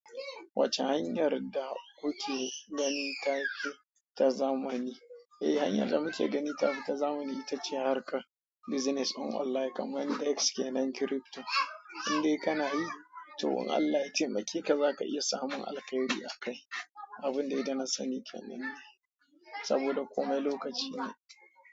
Wacce hanyar da kuke gani take ta zamani? Eh hanyar da muke gani ta fi ta zamani ita ce harkar business on online kamar Dexke nan crypto, indai kana yi, to in Allah yi taimake ka za ka iya samun alkhairi akai. Abun dai da na sani kenan ne, saboda komai lokaci ne.